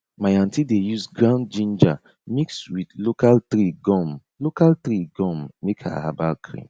my aunty dey use ground ginger mix with local tree gum local tree gum make her herbal cream